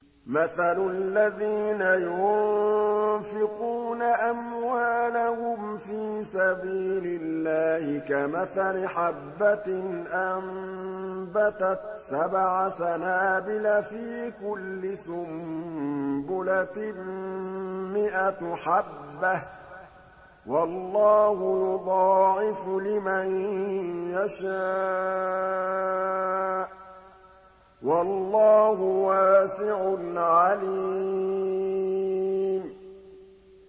مَّثَلُ الَّذِينَ يُنفِقُونَ أَمْوَالَهُمْ فِي سَبِيلِ اللَّهِ كَمَثَلِ حَبَّةٍ أَنبَتَتْ سَبْعَ سَنَابِلَ فِي كُلِّ سُنبُلَةٍ مِّائَةُ حَبَّةٍ ۗ وَاللَّهُ يُضَاعِفُ لِمَن يَشَاءُ ۗ وَاللَّهُ وَاسِعٌ عَلِيمٌ